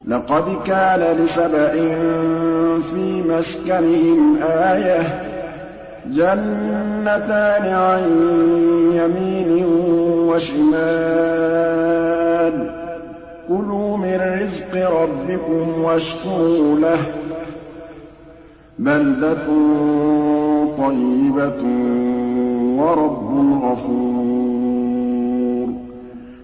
لَقَدْ كَانَ لِسَبَإٍ فِي مَسْكَنِهِمْ آيَةٌ ۖ جَنَّتَانِ عَن يَمِينٍ وَشِمَالٍ ۖ كُلُوا مِن رِّزْقِ رَبِّكُمْ وَاشْكُرُوا لَهُ ۚ بَلْدَةٌ طَيِّبَةٌ وَرَبٌّ غَفُورٌ